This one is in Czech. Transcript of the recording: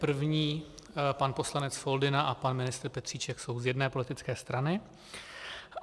První pan poslanec Foldyna a pan ministr Petříček jsou z jedné politické strany.